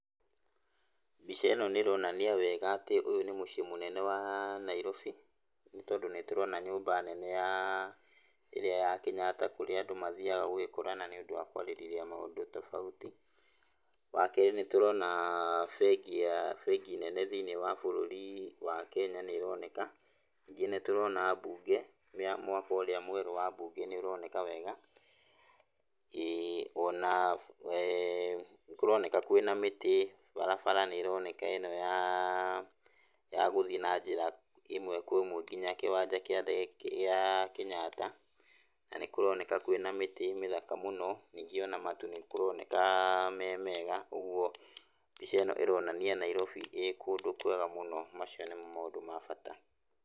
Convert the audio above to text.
Mbica ĩno nĩ ĩronania wega atĩ ũyũ nĩ mũciĩ wa mũnene wa Nairobi, nĩ tondũ nĩ tũrona nyũmba nene ya ĩrĩa ya Kenyatta kũrĩa andũ mathiyaga gũgĩkorana nĩ ũndũ wa kwarĩrĩria maũndũ tofauti. Wa kerĩ, nĩ tũrona bengĩ nene thĩiniĩ wa bũrũri wa Kenya nĩyo ĩroneka, ningĩ nĩ tũrona mbunge, mwako ũrĩa mwerũ wa mbunge nĩ ũroneka wega ĩĩ, ona nĩkũroneka kwĩ na mĩtĩ, barabara nĩ ĩroneka ĩno ya gũthiĩ na njĩra ya ĩmwe kwa ĩmwe nginya kĩwanja kĩa ndege gĩa Kenyatta, na nĩ kũroneka kwĩna mĩtĩ mĩthaka mũno, ningĩ ona matu nĩ kũroneka me mega. Ũguo mbica ĩno ĩronania Nairobi ĩkũndũ kwega mũno. Macio nĩmo maũndũ ma bata.